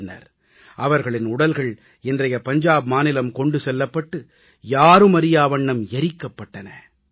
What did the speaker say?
பின்னர் அவர்களின் உடல்கள் இன்றைய பஞ்சாப் மாநிலம் கொண்டு செல்லப்பட்டு யாருமறியா வண்ணம் எரிக்கப்பட்டது